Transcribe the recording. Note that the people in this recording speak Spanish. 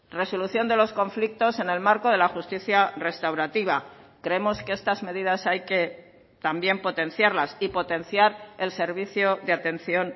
resolución de los conflictos en el marco de la justicia restaurativa creemos que estas medidas hay que también potenciarlas y potenciar el servicio de atención